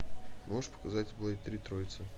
можешь показать блэйд три троица